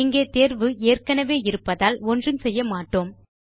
இங்கே தேர்வு ஏற்கெனவே இருப்பதால் ஒன்றும் செய்ய மாட்டோம்